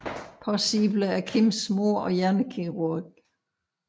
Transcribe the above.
Possible er Kims mor og hjernekirurg